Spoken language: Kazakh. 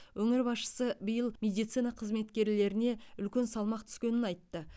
өңір басшысы биыл медицина қызметкерлеріне үлкен салмақ түскенін айтты